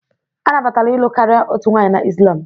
A nabatara ịlụ karịa otu nwanyị na Islam